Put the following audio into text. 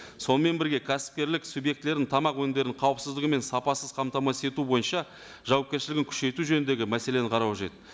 сонымен бірге кәсіпкерлік субъектілерінің тамақ өнімдерін қауіпсіздігі мен сапасыз қамтамасыз ету бойынша жауапкершілігін күшейту жөніндегі мәселені қарау қажет